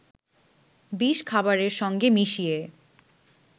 বিষ খাবারের সঙ্গে মিশিয়ে